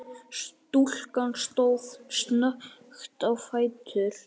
Stúlkan stóð snöggt á fætur.